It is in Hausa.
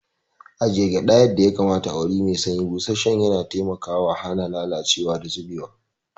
Ajiye gyada yadda ya kamata a wuri mai sanyi, busasshen yana taimakawa hana lalacewa da zubewa.